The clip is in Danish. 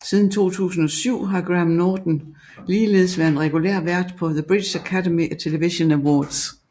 Siden 2007 har Graham Norton ligeledes været en regulær vært på The British Academy Television Awards